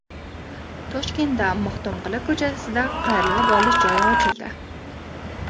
Toshkentda Maxtumquli ko‘chasida qayrilib olish joyi ochildi.